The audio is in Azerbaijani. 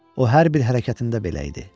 O hər bir hərəkətində belə idi.